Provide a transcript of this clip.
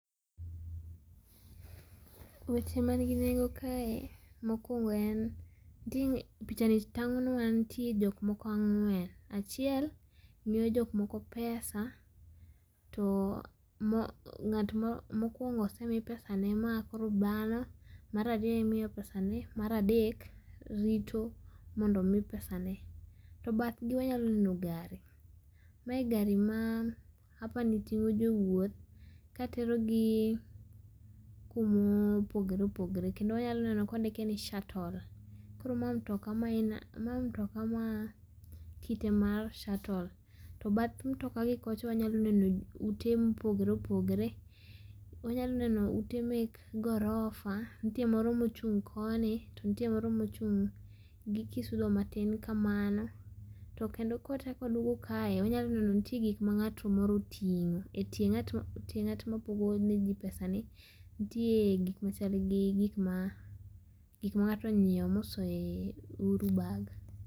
Weche ma nigi nengo kae ,mokuogo en, nitie, picha ni tang'onwa nitie jok moko ang'wen, achiel miyo jok moko pesa too moo ng'at mo mokuongo osemii pesane makoro baano, mar ariyo imiyo pesane , mar adek rito mondo omii pesane. to badhgii wanyalo neno [cs gari ,mae gari maa apani ting'o jowuoth katerogii kumoopogore opogoree kendo wanyalo neno kondike ni shuttle, koro maa mtokaa maen maa mtokaa maa, kite mar shuttle to bath mtokaa gikocha wanyalo neno utee mopogoree opogoree ,wanyalo neneo ute mek gorofa ntie moro mochung konii to ntie moro mochung gi kisudo matin kamano to kendo kwachak waduogo kae wanyalo neno ntie gik mang'at moro oting'o etie ng'at ma tie ng'at mapogoji pesani, ntie gik machalgi gik maa gik mang'ato onyieo mosoe e ouru bag.